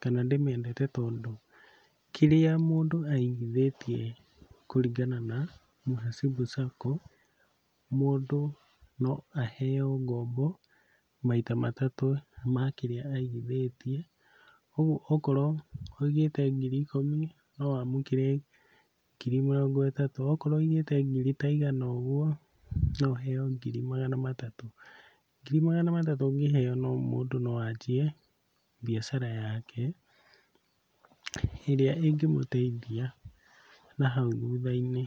kana ndĩmĩendete tondũ kĩrĩa mũndũ aigithĩtie kũrĩngana na Mũhasibu Sacco, mũndũ no aheo ngombo maita matatũ ma kĩrĩa aigithĩtie, ũguo okorwo wĩigĩte ngiri ikũmi no wamũkĩre ngiri mĩrongo ĩtatũ, okorwo wĩigĩte ngiri ta igana ũguo, no ũheo ngiri magana matatũ. Ngiri magana matatũ ũngĩheo mũndũ no anjie mbiacara yake ĩrĩa ĩngĩmũteithia na hau hutha-inĩ.